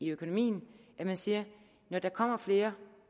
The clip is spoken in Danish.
økonomien at man siger når der kommer flere